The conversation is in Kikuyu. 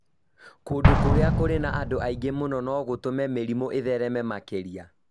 kũndũ kũrĩa kũrĩ na andũ aingĩ mũno no gũtũme mĩrimũ ĩthereme makĩria